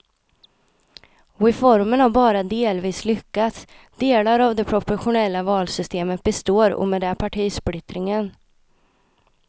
Reformen har bara delvis lyckats, delar av det proportionella valsystemet består och med det partisplittringen.